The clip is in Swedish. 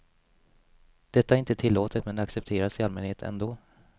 Detta är inte tillåtet men accepteras i allmänhet ändå.